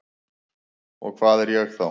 Og hvað er ég þá?